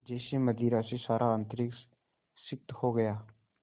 जैसे मदिरा से सारा अंतरिक्ष सिक्त हो गया